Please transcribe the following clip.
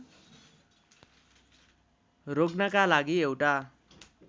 रोक्नका लागि एउटा